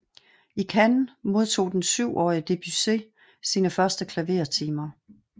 I Cannes modtog den syvårige Debussy sine første klavertimer